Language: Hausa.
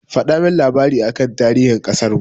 Ku faɗa min labari aka tarihin ƙasarmu!